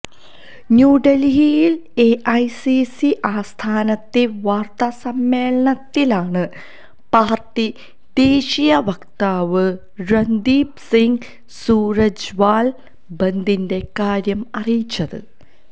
ന്യൂഡല്ഹിയില് AICC ആസ്ഥാനത്തെ വാര്ത്താസമ്മേളനത്തിലാണ് party ദേശീയ വക്താവ് രണ്ദീപ് സിംഗ് സൂര്ജെവാല ബന്ദിന്റെ കാര്യം അറിയിച്ചത്